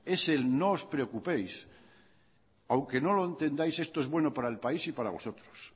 es el no os preocupéis aunque no lo entendáis esto es bueno para el país y para vosotros